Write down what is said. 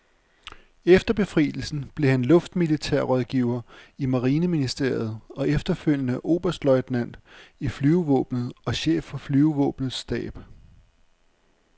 Efter befrielsen blev han luftmilitær rådgiver i marineministeriet og efterfølgende oberstløjtnant i flyvevåbnet og chef for flyvevåbnets stab.